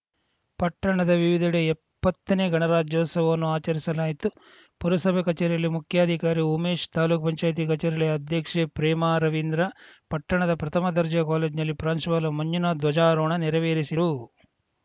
ಪಟ್ಟಣದ ವಿವಿಧೆಡೆ ಇಪ್ಪತ್ತನೇ ಗಣರಾಜ್ಯೋತ್ಸವವನ್ನು ಆಚರಿಸಲಾಯಿತು ಪುರಸಭೆ ಕಚೇರಿಯಲ್ಲಿ ಮುಖ್ಯಾಧಿಕಾರಿ ಉಮೇಶ್‌ ತಾಲೂಕು ಪಂಚಾಯತ್ ಕಚೇರಿಯಲ್ಲಿ ಅಧ್ಯಕ್ಷೆ ಪ್ರೇಮಾ ರವೀಂದ್ರ ಪಟ್ಟಣದ ಪ್ರಥಮ ದರ್ಜೆ ಕಾಲೇಜ್ ನಲ್ಲಿ ಪ್ರಾಂಶುಪಾಲ ಮಂಜುನಾಥ್‌ ಧ್ವಜಾರೋಹಣ ನೆರವೇರಿಸಿರು